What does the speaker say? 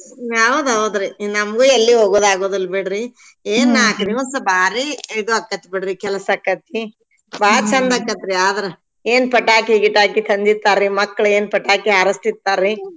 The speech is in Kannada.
ಹೌದ್ ಹೌದ್ರಿ ನಮ್ಗೂ ಎಲ್ಲೂ ಹೋಗೋದ್ ಆಗೂದಿಲ್ ಬಿಡ್ರಿ ಏನ್ ನಾಕ್ ದಿವ್ಸ್ ಬಾರೀ ಇದು ಆಕತ್ಬಿಡ್ರಿ ಕಲಸ್ ಆಕೆತ್ತಿ ಬಾಳ್ ಚಂದ್ ಆಕತ್ರೀ ಆದ್ರ ಏನ್ ಪಟಾಕಿ ಗಿಟಾಕಿ ತಂದಿರ್ತಾರ್ರಿ ಮಕ್ಳ ಏನ್ ಪಟಾಕಿ ಹಾರಸ್ತಿರ್ತಾರ್ರಿ.